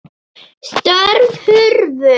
Störf hurfu.